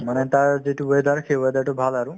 মানে তাৰ যিটো weather সেই weather তো ভাল আৰু